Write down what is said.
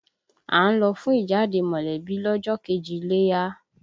À ń lọ fún ìjáde mọ̀lẹ́bí lọ́jọ́ kejì iléyá